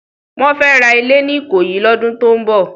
Wòn fè rá ilé ni Ikoyi lòdún tó n bò